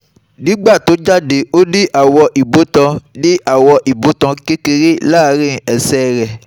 Nígbà tó jáde, ó ní àwọn ibotan ní àwọn ibotan kékeré láàrín ẹsẹ̀ rẹ̀